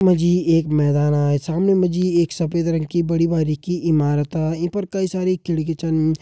यख मा जी मैदाना सामने मा जी एक सफ़ेद रंग की बड़ी बारिकी इमारता ईं पर कई सारी खिड़की छन।